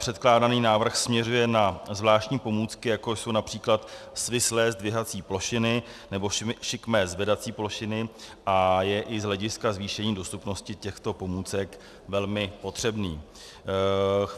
Předkládaný návrh směřuje na zvláštní pomůcky, jako jsou například svislé zdvihací plošiny nebo šikmé zvedací plošiny, a je i z hlediska zvýšení dostupnosti těchto pomůcek velmi potřebný.